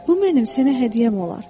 Bu mənim sənə hədiyyəm olar.